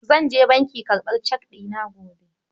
zan je banki karɓar cek ɗina gobe.